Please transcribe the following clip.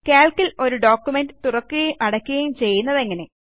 Calc ൽ ഒരു പ്രമാണം തുറക്കുകയും അടയ്ക്കുകയും ചെയ്യേണ്ടത് എങ്ങനെ